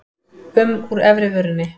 um úr efri vörinni.